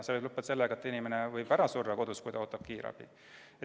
See võib lõppeda sellega, et inimene sureb kodus ära, kui ta kiirabi ootab.